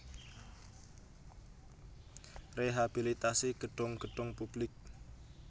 Rehabilitasi gedhong gedhong publik